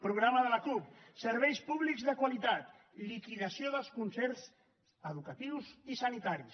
programa de la cup serveis públics de qualitat liquidació dels concerts educatius i sanitaris